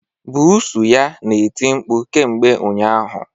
Buusu ya na-eti mkpu kemgbe ụnyaahụ